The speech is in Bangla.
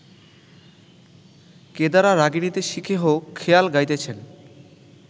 কেদারা রাগিণীতে “শিখেহো” খেয়াল গাইতেছেন